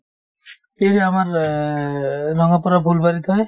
এই আমাৰ অ ৰঙাপাৰা ফুলবাৰীত হয়